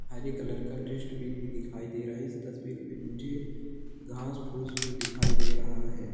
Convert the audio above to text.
हरे colour का dustbin भी दिखाई दे रहा है । इस तस्वीर में मुझे घास-फूस भी दिखाई दे रहा है ।